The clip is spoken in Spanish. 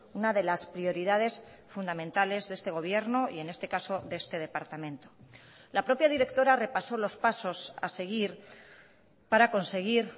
una de las prioridades fundamentales de este gobierno y en este caso de este departamento la propia directora repasó los pasos a seguir para conseguir